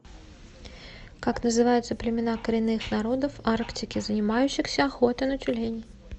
как называются племена коренных народов арктики занимающихся охотой на тюленей